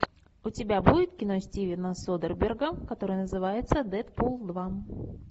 у тебя будет кино стивена содерберга которое называется дэдпул два